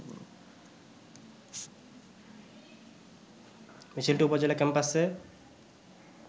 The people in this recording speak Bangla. মিছিলটি উপজেলা ক্যাম্পাসে